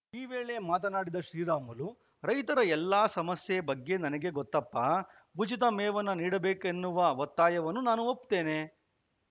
ಈ ವೇಳೆ ಮಾತನಾಡಿದ ಶ್ರೀರಾಮುಲು ರೈತರ ಎಲ್ಲ ಸಮಸ್ಯೆ ಬಗ್ಗೆ ನನಗೆ ಗೊತ್ತಪ್ಪ ಉಚಿತ ಮೇವನ್ನು ನೀಡಬೇಕೆನ್ನುವ ಒತ್ತಾಯವನ್ನು ನಾನೂ ಒಪ್ಪುತ್ತೇನೆ